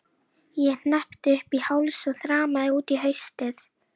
Ég hneppti upp í háls og þrammaði út í haustið.